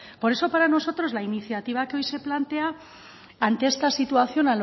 por eso para nosotros la iniciativa que hoy se plantea ante esta situación